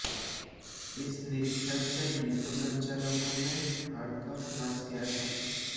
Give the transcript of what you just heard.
इस निरीक्षण से डिपो संचालकों में हड़कंप मच गया था